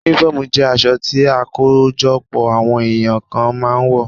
Únífọ́ọ̀mù jẹ́ aṣọ tí àkójọpọ̀ àwọn èyàn kan máa ń wọ̀